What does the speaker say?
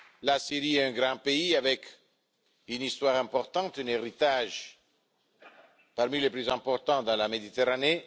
La Syrie est un grand pays avec une histoire importante et un héritage parmi les plus importants de la Méditerranée